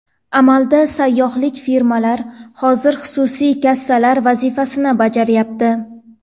Amalda sayyohlik firmalar hozir xususiy kassalar vazifasini bajaryapti.